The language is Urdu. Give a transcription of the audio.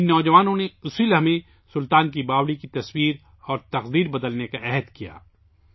ان نوجوانوں نے اسی لمحے سلطان کی باوڑی کی تصویر اور تقدیر بدلنے کا عزم کیا